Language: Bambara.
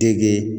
Teke